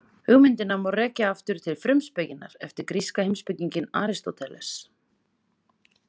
Hugmyndina má rekja aftur til „Frumspekinnar“ eftir gríska heimspekinginn Aristóteles.